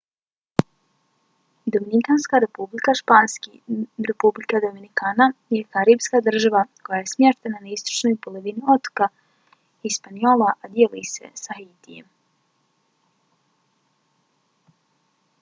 dominikanska republika španski: república dominicana je karipska država koja je smještena na istočnoj polovini otoka hispaniola a dijeli ga s haitijem